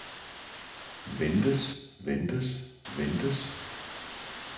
ventes ventes ventes